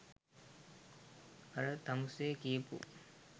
අර තමුසෙ කියපු